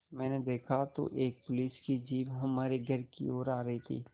मैंने देखा तो एक पुलिस की जीप हमारे घर की ओर आ रही थी